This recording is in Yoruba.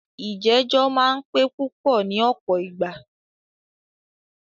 ìjẹ̀jọ́ máà ń pẹ́ púpọ ní ọ̀pọ̀ ìgbà.